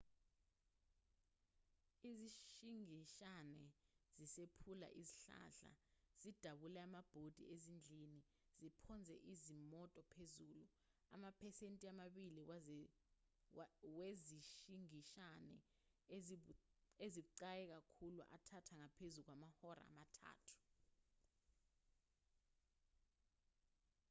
izishingishane zisiphula izihlahla zidabule amabhodi ezindlini ziphonse izimoto phezulu amaphesenti amabili wezishingishane ezibucayi kakhulu athatha ngaphezu kwamahora amathathu